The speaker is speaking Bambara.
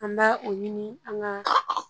An bɛ o ɲini an ka